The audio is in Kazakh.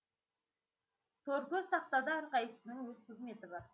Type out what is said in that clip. тор көз тақтада әрқайсысының өз қызметі бар